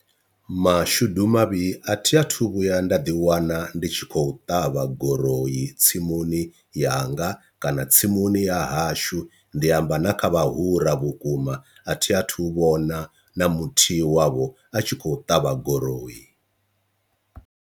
Mashudu mavhi a thi athu vhuya nda ḓi wana ndi tshi khou ṱavha guroi tsimuni yanga kana tsimuni ya hashu, ndi amba na kha vhahura vhukuma a thi a thu vhona na muthihi wavho a tshi khou ṱavha goloi.